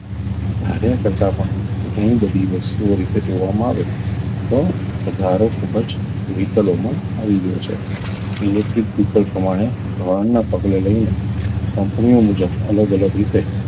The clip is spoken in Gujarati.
ધાર્યા કરતાં પણ ઘણી બધી વસ્તુઓ રીતે જોવામાં આવે તો વધારો ખૂબ જ vehicle મા આવી ગયો છે electric vehicle પ્રમાણે ધોરણના પગલે લઈને company ઓ મુજબ અલગ અલગ રીતે